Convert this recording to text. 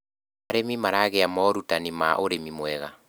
arĩmi maragia morutanĩ ma ũrĩmi mwega